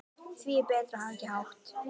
Því er betra að hafa ekki hátt.